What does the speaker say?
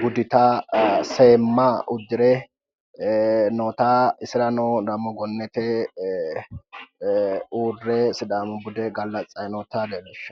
budita seemma uddire noota isirano dammo gonnete uurre sidaamu bude gallatsayi noota leellishanno